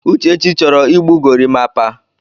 Uchechi chọrọ igbu gorimapa.